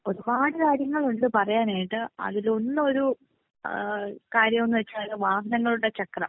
ഒരുപാട് കാര്യങ്ങൾ ഉണ്ട് പറയാനായിട്ട്. അതിലൊന്നൊരു ഏഹ് കാര്യമെന്ന് വെച്ചാൽ വാഹനങ്ങളുടെ ചക്രം